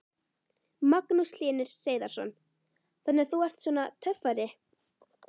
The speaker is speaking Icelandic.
Magnús Hlynur Hreiðarsson: Þannig þú ert svona töffari?